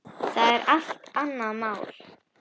Það er allt annað mál.